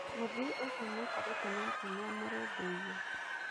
Mũthii ũcio maikaranĩtie nake niamũrũmbũiyie.